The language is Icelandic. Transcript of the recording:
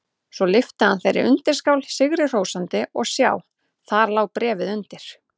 Svo lyfti hann þeirri undirskál sigri hrósandi og sjá: Þar lá bréfið undir!